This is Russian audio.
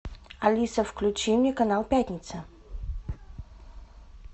алиса включи мне канал пятница